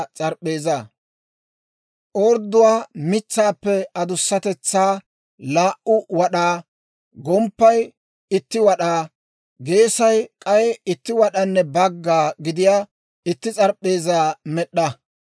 «Odooruwaa mitsaappe adussatetsaa laa"u wad'aa, gomppay itti wad'aa, geesay k'ay itti wad'anne bagga gidiyaa itti s'arp'p'eezaa med'd'a.